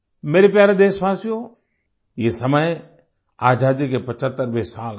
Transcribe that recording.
मेरे प्यारे देशवासियो ये समय आजादी के 75वें साल का है